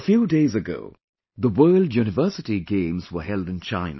A few days ago the World University Games were held in China